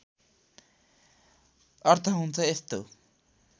अर्थ हुन्छ यस्तो